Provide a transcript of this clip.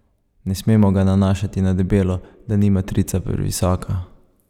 Ne smemo ga nanašati na debelo, da ni matrica previsoka.